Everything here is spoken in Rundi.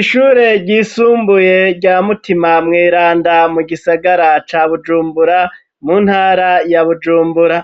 Ishure ryisumbuye rya mutima mweranda mu gisagara ca bujumbura mu ntara ya bujumbura,